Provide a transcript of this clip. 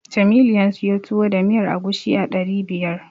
Jamilu ya siyo Tuwo da miyar agushi a ɗari biyar.